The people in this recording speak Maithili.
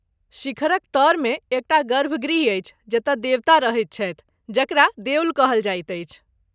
शिखरक तऽरमे एक टा गर्भगृह अछि जतय देवता रहैत छथि, जकरा देऊळ कहल जाइत अछि।